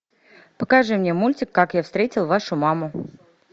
покажи мне мультик как я встретил вашу маму